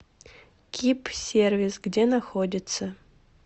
кип сервис где находится